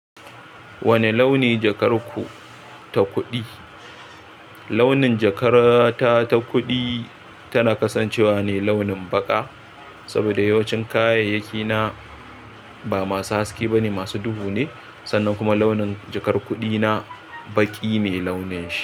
Wane launi jakar ku ta kuɗi? Launi jakar ta ta kuɗi, tana kasan cewa ne launin baƙa saboda yawancin kayayyaki na ba masu haske ba ne, masu duhu ne. Sannan kuma launin jakar kuɗi na baƙi ne launin shi.